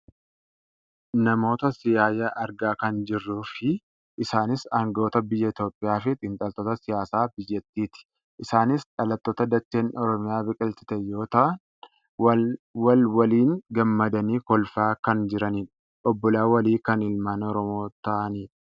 Namoota siyaaya argaa kan jirruufi isaanis anga'oota biyya Itoopiyaa fi xiinxaltoota siyaasaa biyyyattiiti. Isaanis dhalattoota dacheen Oromiyaa biqilchite yoo ta'an wal waliin gammadanii kolfaa kan jiranidha. Obbolaa walii kan ilmaan oromoo ta'anidha.